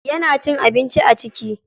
Yana cin abinci a ciki?